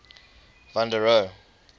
van der rohe